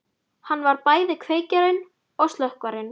Hann var bæði kveikjarinn og slökkvarinn.